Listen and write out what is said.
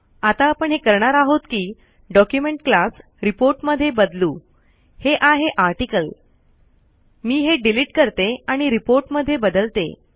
आता आपण हे करणार आहोत कि ड़ॉक्यूमेंट क्लास रिपोर्ट मध्ये बदलू हे आहे आर्टिकल मी हे डीलिट करते आणि रिपोर्ट मध्ये बदलते